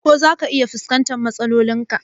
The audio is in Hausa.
Ko zaka iya fuskantar matsalolin ka?